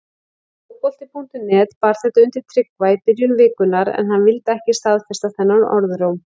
Fótbolti.net bar þetta undir Tryggva í byrjun vikunnar en hann vildi ekki staðfesta þennan orðróm.